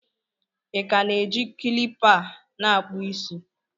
ị ka na-eji kilipa a na-akpụ isi?